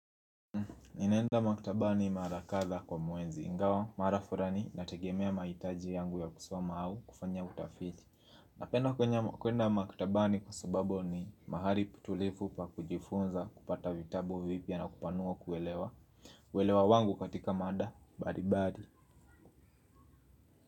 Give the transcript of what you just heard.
Ninaenda maktabani mara kadha kwa mwezi ingawa mara furani nategemea maitaji yangu ya kusoma au kufanya utafiti. Napenda kwenye kuenda maktabani kwa sababu ni mahali tulivu pa kujifunza kupata vitabu vipya na kupanua kuelewa. Welewa wangu katika mada balibali.